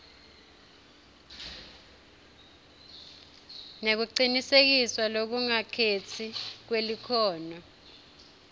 nekucinisekiswa lokungakhetsi kwelikhono